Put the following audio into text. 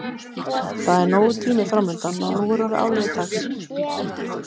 Það er nógur tími framundan og nú er orðið áliðið dags.